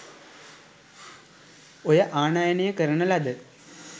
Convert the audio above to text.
ඔය ආනයනය කරන ලද